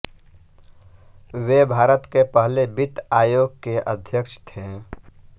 वे भारत के पहले वित्त आयोग के अध्यक्ष थे